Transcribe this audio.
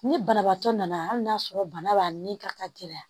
Ni banabaatɔ nana hali n'a sɔrɔ bana b'a ni ka gɛlɛya